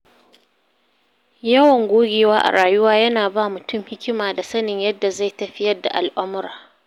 Yawan gogewa a rayuwa yana ba mutum hikima da sanin yadda zai tafiyar da al’amura.